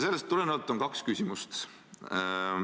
Sellest tulenevalt on kaks küsimust.